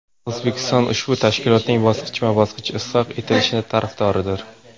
O‘zbekiston ushbu tashkilotning bosqichma-bosqich isloh etilishi tarafdoridir.